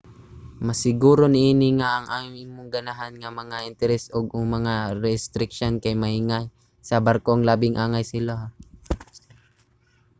masiguro niini nga ang imong ganahan nga mga interes ug/o mga restriksiyon kay mahiangay sa barkong labing angay sa ilaha